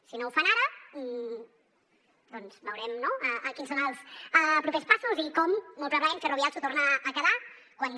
si no ho fan ara doncs veurem no quins són els propers passos i com molt probablement ferrovial s’ho torna a quedar quan